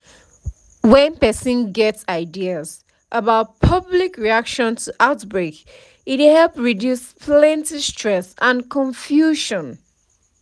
when person get ideas about public reaction to outbreak e dey help reduce plenty stress and confusion